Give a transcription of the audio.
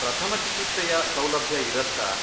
ಪ್ರಥಮ ಚಿಕಿತ್ಸೆಯ ಸೌಲಭ್ಯ ಇರತ್ತಾ?